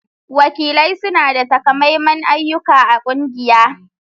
Wakilai suna da takamaiman ayyuka a ƙungiya